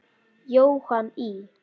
Jóhann í